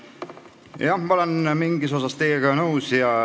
Jah, ma olen mingis osas teiega nõus.